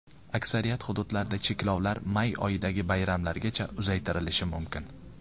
Aksariyat hududlarda cheklovlar may oyidagi bayramlargacha uzaytirilishi mumkin.